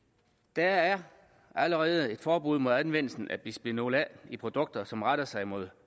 der er allerede et forbud mod anvendelse af bisfenol a i produkter som retter sig mod